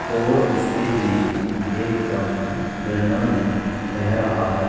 और इसके बीच में एक पानी का झरना भी बह रहा है।